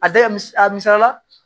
A da mis a misaliya la